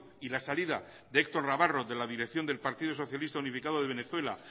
y la salida de héctor navarro de la dirección del partido socialista unificado de venezuela